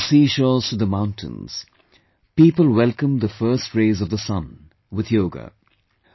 From the seashores to the mountains, people welcomed the first rays of the sun, with Yoga